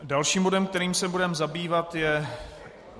Dalším bodem, kterým se budeme zabývat, je